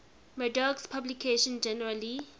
murdoch's publications generally